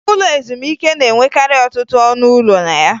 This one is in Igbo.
Ụlọ ezumike na-enwekarị ọtụtụ ọnụ ụlọ na ya